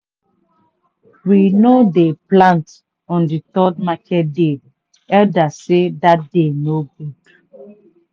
we no dey plant on the third market day day elders sey that day no good.